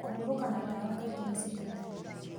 Kũhurũka na dawa kaingĩ nĩ citeithagia